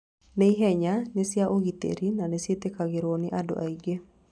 Nĩ ihenya, nĩ cia ũgitĩri, na nĩ ciĩtĩkagĩrũo nĩ andũ aingĩ.